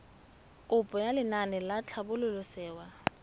kopo ya lenaane la tlhabololosewa